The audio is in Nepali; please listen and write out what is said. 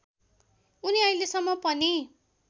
उनी अहिलेसम्म पनि